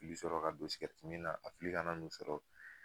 I bi sɔrɔ ka don min na a fili kan'i sɔrɔ